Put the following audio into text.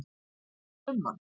Hvað finnst þér um hann?